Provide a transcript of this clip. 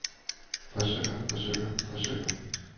forsøger forsøger forsøger